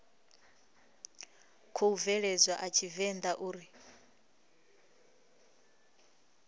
khou bveledzwa a tshivenḓa uri